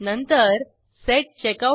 CheckoutServlet dot java उघडा